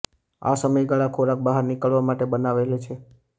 આ સમયગાળા ખોરાક બહાર નીકળવા માટે બનાવાયેલ છે